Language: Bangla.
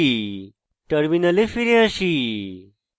terminal ফিরে আসি